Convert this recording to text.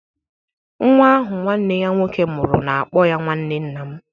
Nwa ahụ nwanne ya nwoke mụrụ na-akpọ ya nwanne nna m.